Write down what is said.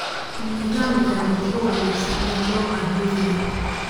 Nidaam gaadiid oo wanaagsan ayaa loo baahan yahay.